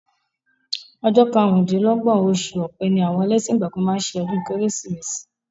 Ọjọ́ karùn-dín-lọ́gbọ̀n oṣù ọ̀pẹ ni àwọn ẹlẹ́sìn ìgbàgbọ́ máa ń ṣe ọdún Kérésìmesì